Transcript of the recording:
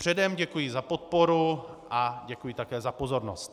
Předem děkuji za podporu a děkuji také za pozornost.